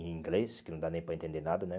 Em inglês, que não dá nem para entender nada, né?